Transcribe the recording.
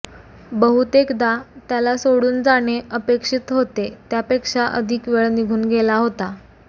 बहुतेकदा त्याला सोडून जाणे अपेक्षित होते त्यापेक्षा अधिक वेळ निघून गेला होता